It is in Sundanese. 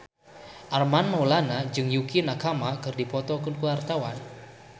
Armand Maulana jeung Yukie Nakama keur dipoto ku wartawan